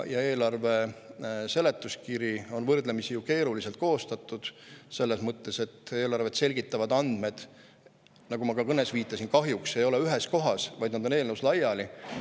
Ja eelarve seletuskiri on võrdlemisi keeruliselt koostatud – selles mõttes, et eelarvet selgitavad andmed, nagu ma ka oma kõnes viitasin, kahjuks ei ole ühes kohas, vaid on eelnõus laiali.